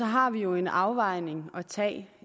har vi jo en afvejning at tage